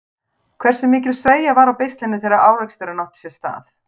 Hversu mikil sveigja var á beislinu þegar áreksturinn átti sér stað?